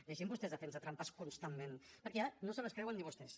deixin vostès de fer nos trampes constantment perquè ja no se les creuen ni vostès